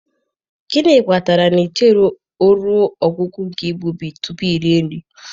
Gịnị kpatara na i chere ruo ọgwụgwụ nke igbubi tupu iri nri?